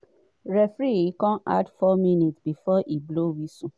referee add 4 minutes before e blow whistle.